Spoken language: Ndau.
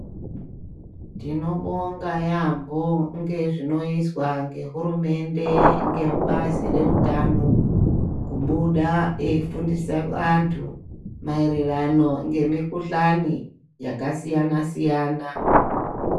Tinobonga yaamho ngezvenoizwa ngehurumende, ngebazi reutano kubuda eifundisa antu maererano ngemikhuhlani yakasiyana siyana.